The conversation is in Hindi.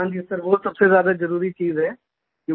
हां जी सर वो सबसे ज्यादा जरुरी चीज है